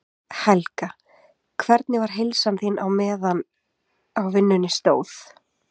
Helga: Hvernig var heilsan þín á meðan á vinnunni stóð?